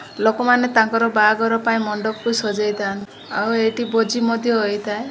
ଲୋକମାନେ ତାଙ୍କର ବାହାଘର ପାଇଁ ମଣ୍ଡପକୁ ସଜାଇଥାନ୍ତି ଆଉ ଏଇଠି ଭୋଜି ମଧ୍ୟ ହେଇଥାଏ।